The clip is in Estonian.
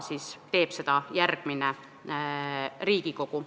Seda teeb juba järgmine Riigikogu.